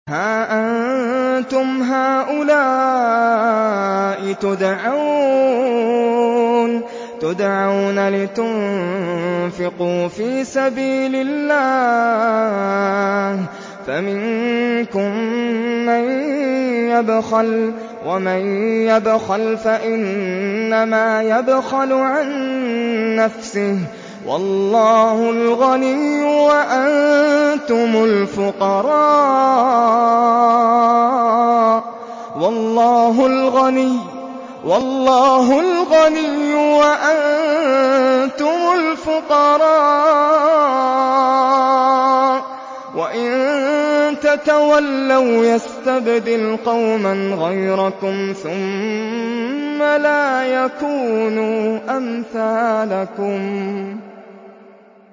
هَا أَنتُمْ هَٰؤُلَاءِ تُدْعَوْنَ لِتُنفِقُوا فِي سَبِيلِ اللَّهِ فَمِنكُم مَّن يَبْخَلُ ۖ وَمَن يَبْخَلْ فَإِنَّمَا يَبْخَلُ عَن نَّفْسِهِ ۚ وَاللَّهُ الْغَنِيُّ وَأَنتُمُ الْفُقَرَاءُ ۚ وَإِن تَتَوَلَّوْا يَسْتَبْدِلْ قَوْمًا غَيْرَكُمْ ثُمَّ لَا يَكُونُوا أَمْثَالَكُم